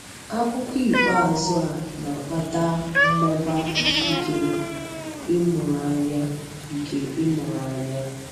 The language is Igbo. Akụkụ ikpeazụ a na-akpata mmụba nke ịmụrụ anya. nke ịmụrụ anya.